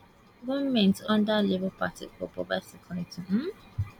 goment under labour party go provide security um